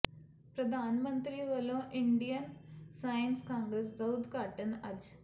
ਪ੍ਰਧਾਨ ਮੰਤਰੀ ਵੱਲੋਂ ਇੰਡੀਅਨ ਸਾਇੰਸ ਕਾਂਗਰਸ ਦਾ ਉਦਘਾਟਨ ਅੱਜ